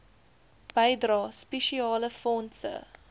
bydrae spesiale fondse